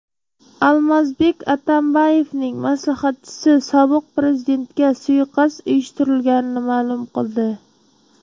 Almazbek Atambayevning maslahatchisi sobiq prezidentga suiqasd uyushtirilganini ma’lum qildi .